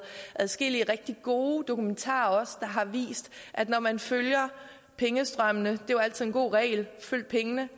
adskillige rigtig gode dokumentarer der har vist at når man følger pengestrømmene det er jo altid en god regel at følge pengene